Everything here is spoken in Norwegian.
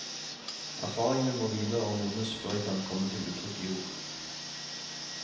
Erfaringene må hvile og modnes før de kan komme til uttrykk i ord.